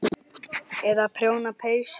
Eða prjóna peysur.